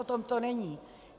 O tom to není.